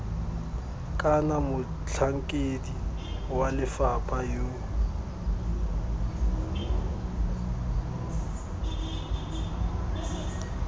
kana motlhankedi wa lefapha yo